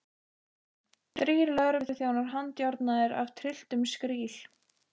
Þrír lögregluþjónar handjárnaðir af trylltum skríl.